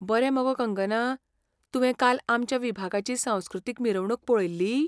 बरें मगो कंगना! तुवें काल आमच्या विभागाची सांस्कृतीक मिरवणूक पळयल्ली?